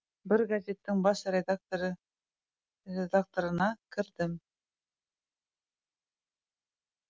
бір газеттің бас редакторына кірдім